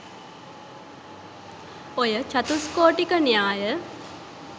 ඔය චතුස්කෝටික න්‍යාය